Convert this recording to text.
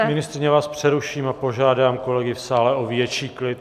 Paní ministryně, já vás přeruším a požádám kolegy v sále o větší klid.